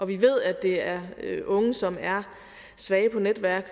vi ved at det er unge som er svage på netværk